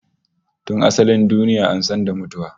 Tun asalin duniya an san da mutuwa